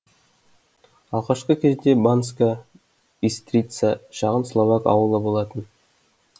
алғашқы кезде банска бистрица шағын словак ауылы болған